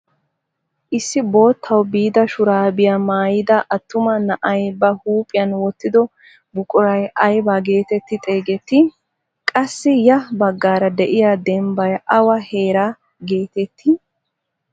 Issi boottawu biida shuraabiyaa maayida attuma na'ay ba huuphphiyaan wottido buquray aybaa getetti xeegettii? Qassi ya baggaara de'iyaa dembbay awa heeraa getettii?